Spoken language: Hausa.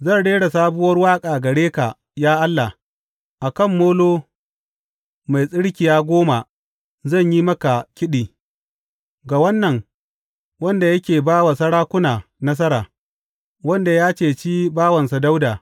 Zan rera sabuwar waƙa gare ka, ya Allah; a kan molo mai tsirkiya goma zan yi maka kiɗi, ga Wannan wanda yake ba wa sarakuna nasara, wanda ya cece bawansa Dawuda.